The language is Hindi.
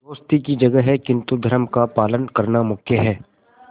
दोस्ती की जगह है किंतु धर्म का पालन करना मुख्य है